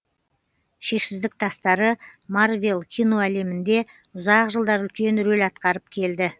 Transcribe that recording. шексіздік тастары марвел киноәлемінде ұзақ жылдар үлкен рөл атқарып келді